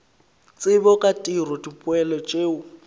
tsebo ka tiro dipoelo tšeo